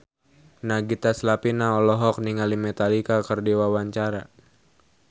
Nagita Slavina olohok ningali Metallica keur diwawancara